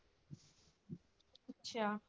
ਅੱਛਾ।